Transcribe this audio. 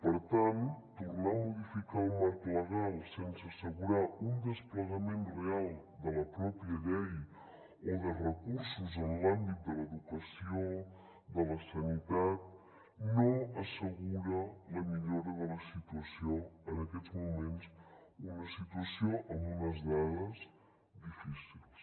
per tant tornar a modificar el marc legal sense assegurar un desplegament real de la pròpia llei o de recursos en l’àmbit de l’educació de la sanitat no assegura la millora de la situació en aquests moments una situació amb unes dades difícils